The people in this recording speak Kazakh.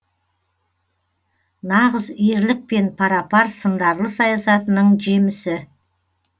нағыз ерлікпен пара пар сындарлы саясатының жемісі